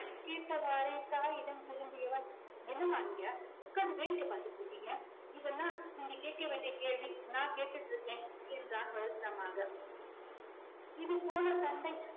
கேட்டவாரே தாயிடம் திரும்பியவன் என்னம்மா நீங்க உட்கார்ந்து வேடிக்கை பார்த்துகிட்டு இருக்கீங்க இதெல்லாம் நீங்க கேட்க வேண்டிய கேள்வி நான் கேட்டுட்டு இருக்கேன் என்றான் வருத்தமாக இதுபோல சண்டை